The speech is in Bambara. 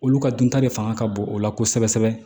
Olu ka dunta de fanga ka bon o la kosɛbɛ kosɛbɛ